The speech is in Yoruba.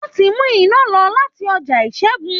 Wọ́n ti mú iná lọ láti ọjọ́ ìṣẹ́gun